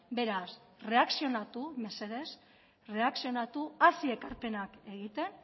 beraz erreakzionatu mesedez erreakzionatu hasi ekarpenak egiten